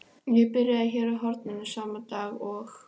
Ég byrjaði hér á horninu sama dag og